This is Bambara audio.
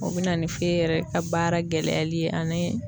O be na ni yɛrɛ ka baara gɛlɛyali ye ani